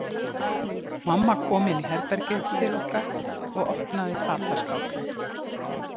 Mamma kom inn í herbergið til okkar og opnaði fataskápinn.